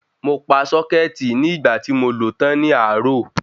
Mo pa sọ́kẹ́tì ní ìgbà tí mo lo tán ní àárò